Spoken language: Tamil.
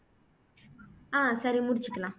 அஹ் சரி முடிச்சுக்கலாம்